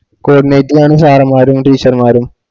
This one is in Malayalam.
കോർണറ്റ് ലു ആണ് sir മാരും teacher മാരും